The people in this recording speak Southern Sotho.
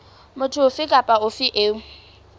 motho ofe kapa ofe eo